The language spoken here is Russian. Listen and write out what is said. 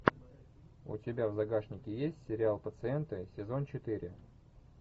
у тебя в загашнике есть сериал пациенты сезон четыре